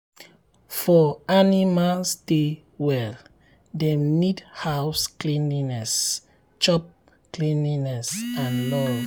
for um animal stay well dem need house cleanliness chop um cleanliness chop um and love.